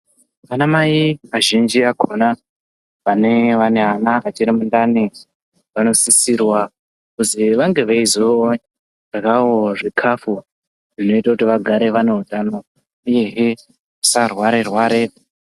Anamai azhinji akona vanenge vane vana vachiri mundani vanosisirwa kuzi vange veizoryawo zvikafu zvinoite kuti vagare vane utano uyehe vasarwarerware .